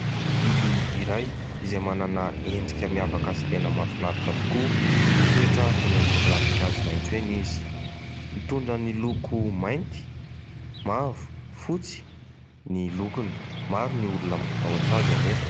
Biby iray izay manana endrika miavaka sy tena mahafinaritra tokoa, mitoetra eny ambony ravin-kazo maitso eny izy, mitondra ny loko mainty, mavo, fotsy ny lokony, maro ny olona matahotra azy anefa.